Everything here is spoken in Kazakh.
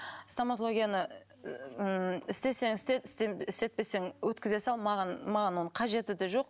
стоматологияны ммм істесең істе істетпесең өткізе сал маған маған оның қажеті де жоқ